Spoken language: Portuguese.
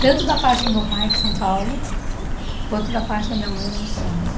Tanto da parte do meu pai, que São Paulo, quanto da parte da minha mãe, lá em Santos.